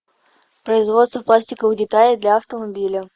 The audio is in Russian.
производство пластиковых деталей для автомобиля